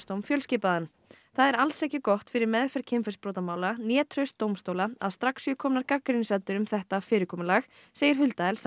það er alls ekki gott fyrir meðferð kynferðisbrotamála né traust dómstóla að strax séu komnar gagnrýnisraddir um þetta fyrirkomulag segir Hulda Elsa ég